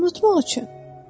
Unutmaq üçün.